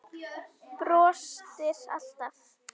Brostir alltaf.